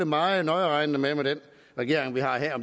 meget nøjeregnende med om den regering vi har her